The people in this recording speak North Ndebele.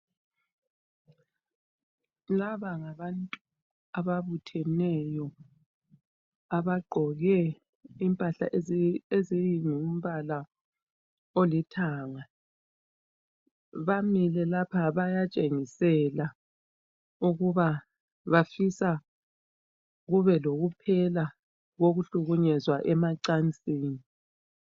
Laba ngabantu ababutheneyo abagqoke impahla ezingumbala olithanga. Bamile lapha, bayatshengisela ukuba bafisa kube lokuphela kokuhlukunyezwa emacansini.